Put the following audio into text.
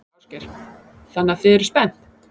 Ásgeir: Þannig að þið eruð spennt?